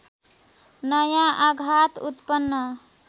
नयाँ आघात उत्पन्न